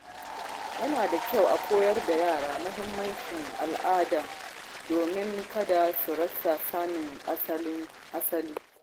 Yana da kyau a koyar da yara mahimmancin al’ada domin kada su rasa sanin asali.